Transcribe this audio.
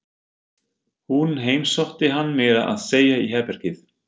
Hún heimsótti hann meira að segja í herbergið.